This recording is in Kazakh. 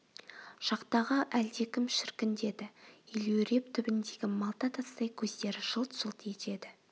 жақтағы әлдекім шіркін деді елеуреп түбіндегі малта тастай көздері жылт-жылт етеді